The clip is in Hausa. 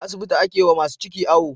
A asibiti ake wa masu ciki awo